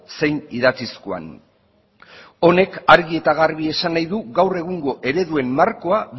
zein idatzizkoan honek argi eta garbi esan nahi du gaur egungo ereduen markoa